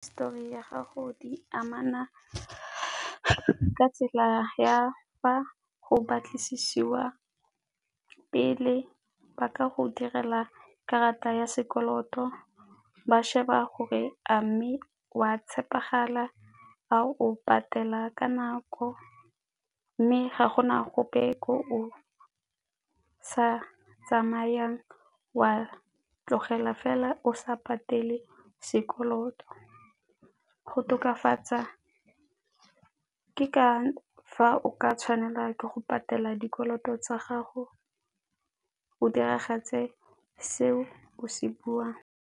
Histori ya gago di amana ka tsela ya fa go batlisiwa pele, ba ka go direla karata ya sekoloto, ba sheba gore a mme o a tshepegala, a o patela ka nako mme ga gona gope o sa tsamayang wa tlogela fela o sa patele sekoloto. Go tokafatsa ke ka fa o ka tshwanela ke go patela dikoloto tsa gago o diragatse seo o se buang.